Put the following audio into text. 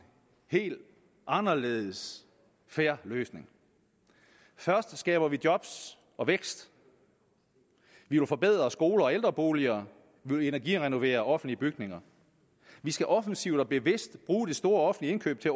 helt anderledes fair løsning først skaber vi job og vækst vi vil forbedre skoler og ældreboliger vi vil energirenovere offentlige bygninger vi skal offensivt og bevidst bruge det store offentlige indkøb til